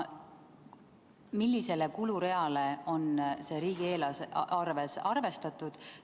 Millisele kulureale on see riigieelarves arvestatud?